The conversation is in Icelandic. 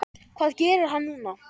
Hvað gerir hann núna?